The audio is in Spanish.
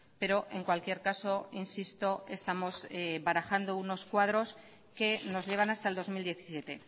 pero en cualquier caso insisto estamos barajando unos cuadros que nos llevan hasta el dos mil diecisiete